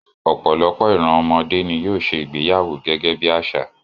Ọ̀pọ̀lọpọ̀ ìran ọmọdé ni yóò ṣe ìgbéyàwó gẹ́gẹ́ bí àṣà